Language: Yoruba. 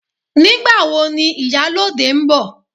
Nígbàwo ni ìyálóde ń bọ̀